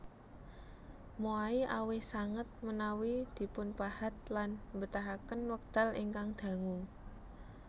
Moai awis sanget menawi dipunpahat lan mbetahaken wekdal ingkang dangu